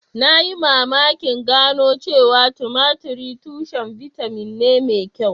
Na yi mamakin gano cewa tumatir tushen bitamin ne mai kyau